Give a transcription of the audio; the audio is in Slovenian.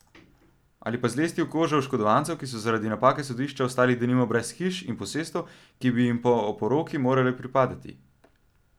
Ali pa zlesti v kožo oškodovancev, ki so zaradi napake sodišča ostali, denimo, brez hiš in posestev, ki bi jim po oporoki morale pripadati.